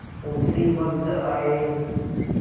उसी वक्त आये